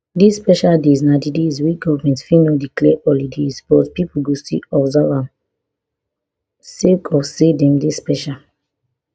dis special days na di days wey goment fit no declare holidays but pipo go still observe dem sake of say dem dey special